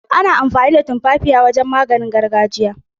Ana amfani da tumfafiya don maganin gargajiya.